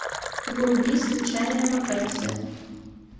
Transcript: вруби случайная вакансия